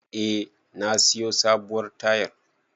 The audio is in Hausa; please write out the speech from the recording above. Eh, na siyo sabuwar tayar.